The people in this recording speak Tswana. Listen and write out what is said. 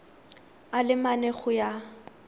a le mane go ya